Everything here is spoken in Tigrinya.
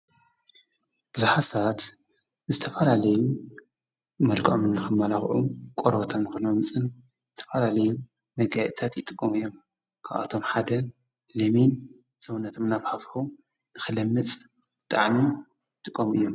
ብዙሓሳት ዝተፋላ ለዩ መልቃዖምናኸማላኽዑ ቖረበተምክሎ ምጽን ዝተፈላለዩ መጋእታት ይጥቆም እዮም ካኣቶም ሓደ ለሜን ዘውነትምናፍ ሃፍሑ ንኽለምጽ ጠዓኒ ጥቆም እዮም።